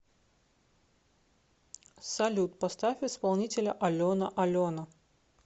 салют поставь исполнителя алена алена